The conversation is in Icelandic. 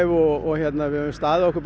og við höfum staðið okkur